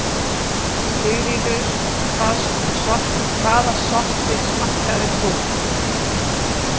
Sigríður: Hvaða sortir smakkaðir þú?